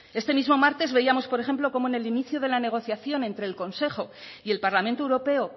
este mismo martes veíamos por ejemplo como en el inicio de la negociación entre el consejo y el parlamento europeo